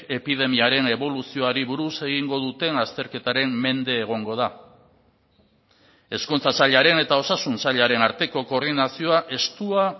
epidemiaren eboluzioari buruz egingo duten azterketaren mende egongo da hezkuntza sailaren eta osasun sailaren arteko koordinazioa estua